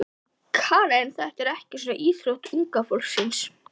Karen: Þetta er ekki svona íþrótt unga fólksins?